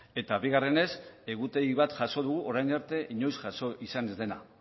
eta bigarrenez egutegi bat jaso dugu orain arte inoiz jaso izan ez dena